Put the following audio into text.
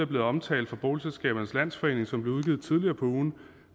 blevet omtalt fra boligselskabernes landsforening som blev udgivet tidligere på ugen